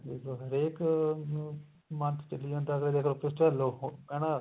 ਦੇਖਲੋ ਹਰੇਕ ਦੇ ਮਨ ਚ ਚੱਲੀ ਜਾਂਦਾ ਹਨਾ